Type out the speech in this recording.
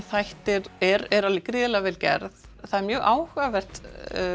þættir eru gríðarlega vel gerðir það er mjög áhugavert